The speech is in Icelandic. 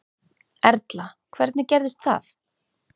Erla: Hvernig gerðist það?